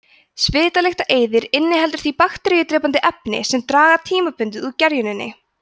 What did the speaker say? svitalyktareyðir inniheldur því bakteríudrepandi efni sem draga tímabundið úr gerjuninni